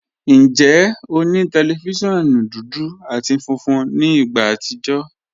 Njẹ́, ọ ni tẹlifíṣíọ̀nù dúdú àti fúnfún ní ìgbà àtìjọ̀?